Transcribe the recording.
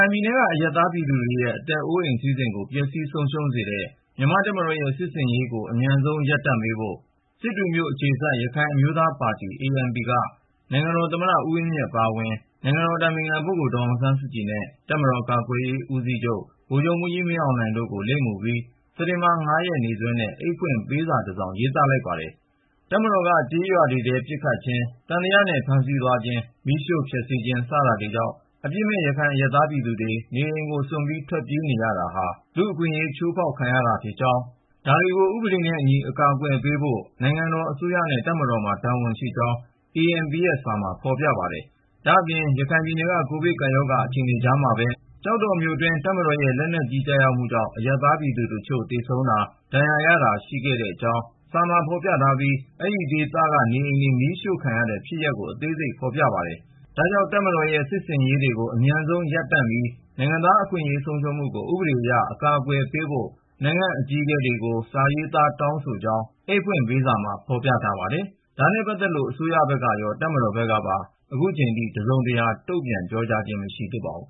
င်ပြည်နယ်က အရပ်သားပြည်သူတွေရဲ့ အသက်အိုးအိမ် စည်းစိမ်ကို ပျက်စီးဆုံးရှုံးစေတဲ့ မြန်မာ့တပ်မတော်ရဲ့ စစ်ဆင်ရေးကို အမြန်ဆုံး ရပ်တန့်ပေးဖို့ စစ်တွေမြို့အခြေစိုက် ရခိုင်အမျိုးသားပါတီ (ANP) က နိုင်ငံတော်သမ္မတ ဦးဝင်းမြင့် အပါအဝင် နိုင်ငံတော်အတိုင်ပင်ခံ ဒေါ်အောင်ဆန်းစုကြည်နဲ့ တပ်မတော်ကာကွယ်ရေး ဦးစီးချုပ် ဗိုလ်ချုပ်မှူးကြီး မင်းအောင်လှိုင်တို့ကို လိပ်မူပြီး စက်တင်ဘာ ၅ ရက် နေ့စွဲနဲ့ အိတ်ဖွင့်ပေးစာတစောင် ရေးသားလိုက်ပါတယ်။ တပ်မတော်က ကျေးရွာတွေထဲ ပစ်ခတ်ခြင်း၊ သံသယနဲ့ ဖမ်းဆီးသွားခြင်း၊ မီးရှို့ဖျက်ဆီးခြင်း စတာတွေကြောင့် အပြစ်မဲ့ ရခိုင်အရပ်သား ပြည်သူတွေ နေအိမ်ကိုစွန့်ပြီး ထွက်ပြေးနေရတာဟာ လူ့အခွင့်အရေး ချိုးဖောက်ခံရခြင်း ဖြစ်ကြောင်း၊ ဒါတွေကို ဥပဒေနဲ့အညီ အကာအကွယ်ပေးဖို့ နိုင်ငံတော်အစိုးရနဲ့ တပ်မတော်မှာ တာဝန်ရှိကြောင်း ANP ရဲ့ စာထဲမှာ ဖော်ပြထားပါတယ်။ ဒါ့အပြင် ရခိုင်ပြည်နယ်က ကိုဗစ်ကပ်ရောဂါ အခြေအနေကြားမှာပဲ ကျောက်တော်မြို့အတွင်း တပ်မတော်ရဲ့ လက်နက်ကြီး ကျရောက်မှုကြောင့် အရပ်သားပြည်သူတချို့ သေဆုံးတာ၊ ဒဏ်ရာရတာ ရှိခဲ့ကြောင်းကိုလည်း စာမှာဖော်ပြထားပြီး အဲဒီဒေသက နေအိမ်တွေ မီးရှို့ခံရတဲ့ဖြစ်ရပ် အသေးစိတ်ကိုလည်း ဖော်ပြထားပါတယ်။ ဒါကြောင့် တပ်မတော်ရဲ့ စစ်ဆင်ရေးတွေကို အမြန်ဆုံးရပ်တန့်ပြီး နိုင်ငံသားအခွင့်အရေး ဆုံးရှုံးမှုကို ဥပဒေအရ အကာအကွယ်ပေးဖို့ နိုင်ငံ့အကြီးအကဲတွေကို စာရေးသားတောင်းဆိုကြောင်း အိတ်ဖွင့်ပေးစာမှာ ဖော်ပြထားပါတယ်။ ဒါနဲ့ပတ်သက်လို့ အစိုးရဘက်ကရော တပ်မတော်ဘက်ကပါ ခုချိန်ထိ တစုံတရာ တုံ့ပြန်ပြောဆိုခြင်း မရှိသေးပါဘူး